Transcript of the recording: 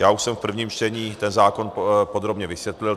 Já už jsem v prvním čtení ten zákon podrobně vysvětlil.